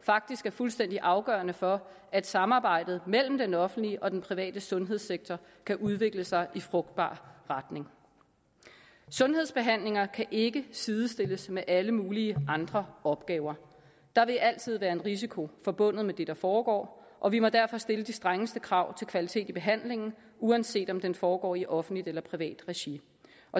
faktisk er fuldstændig afgørende for at samarbejdet mellem den offentlige og den private sundhedssektor kan udvikle sig i en frugtbar retning sundhedsbehandlinger kan ikke sidestilles med alle mulige andre opgaver der vil altid være en risiko forbundet med det der foregår og vi må derfor stille de strengeste krav til kvalitet i behandlingen uanset om den foregår i offentligt eller privat regi